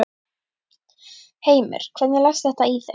Heimir: Hvernig leggst þetta í þig?